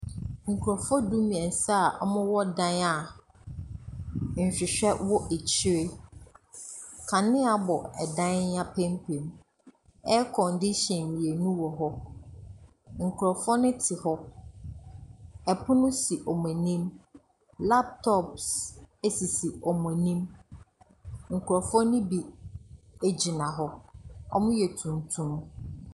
Nkurɔfoɔ du-mmeɛnsa a wɔwɔ dan a nhwehwɛ wɔ akyire. Kanea bɔ dan yi apampam. Aircondition mmienu wɔ hɔ. Nkurɔfoɔ no te hɔ. Ɛpono so wɔn anim. Laptop s ɛsisi wɔn anim. Nkurɔfoɔ no bi gyina hɔ. Wɔyɛ tuntum.